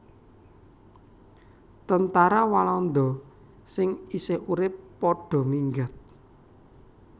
Tentara Walanda sing isih urip padha minggat